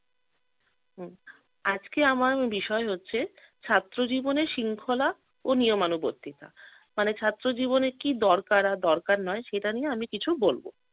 হম আজকে আমার বিষয় হচ্ছে ছাত্র জীবনের শৃঙ্খলা ও নিয়মানুবর্তিতা মানে ছাত্র জীবনে কি দরকার আর দরকার নয় সেটা নিয়ে আমি কিছু বলব।